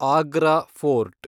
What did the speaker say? Agra fort